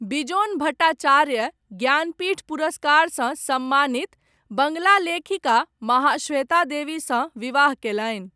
बिजोन भट्टाचार्य, ज्ञानपीठ पुरस्कारसँ सम्मानित, बङ्गाला लेखिका, महाश्वेता देवीसँ विवाह कयलनि।